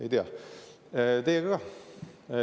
Ei tea,.